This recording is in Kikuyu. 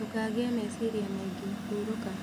Ndĩkagĩe mecirĩa maĩ ngĩ, hurũka